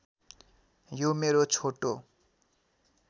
यो मेरो छोटो